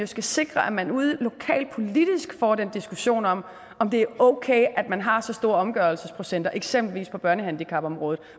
skal sikre at man ude lokalt politisk får den diskussion om om det er okay at man har så store omgørelsesprocenter på eksempelvis børnehandicapområdet